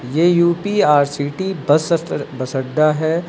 ये UP R city bus स bus अड्डा हैं।